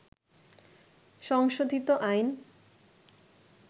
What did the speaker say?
সংশোধিত আইন